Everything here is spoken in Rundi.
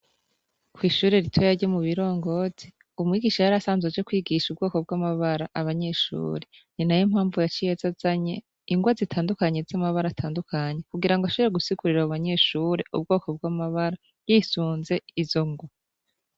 Kwishure ritoya ryo mu Birongoti, umwigisha yarasanzwe aje kwigisha ubwoko bw’amabara abanyeshure , ninayo mpamvu yaciye azazanye ingwa zitandukanye z’amabara atandukanye kugirangw’ashobore gusigurira abo banyeshure ubwoko bw’amabara yisunze izo ngwa.